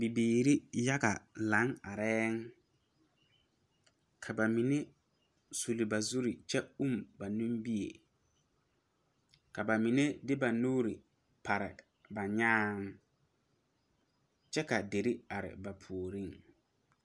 Bibiiri yaga lang arẽ kaba mene sul ba zuree kye ũũ ba ninmeɛ ka ba mene de ba nuuri pare ba nyaã kye ka deri arẽ ba poɔring.